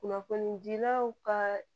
Kunnafonidilaw ka